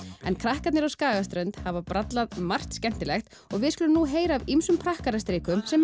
en krakkarnir á Skagaströnd hafa brallað margt skemmtilegt og við skulum heyra af ýmsum prakkarastrikum sem